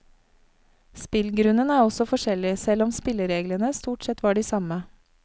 Spillgrunnen er altså forskjellig, selv om spillereglene stort sett var de samme.